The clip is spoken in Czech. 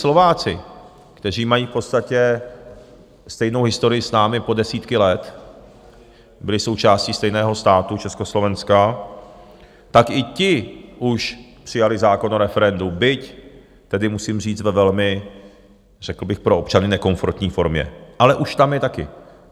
Slováci, kteří mají v podstatě stejnou historii s námi po desítky let, byli součástí stejného státu, Československa, tak i ti už přijali zákon o referendu, byť tedy musím říct, ve velmi řekl bych pro občany nekomfortní formě, ale už tam je taky.